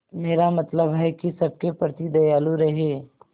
मेरा मतलब है कि सबके प्रति दयालु रहें